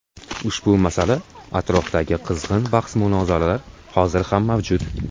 Ushbu masala atrofidagi qizg‘in bahs-munozaralar hozir ham mavjud.